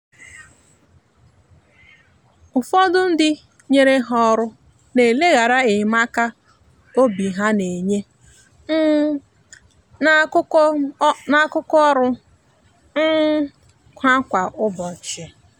ụfọdụ ndị nyere ha ọrụ na eleghara enyemaka obi ha na-enye um n’akụkụ ọrụ um ha kwa ụbọchị.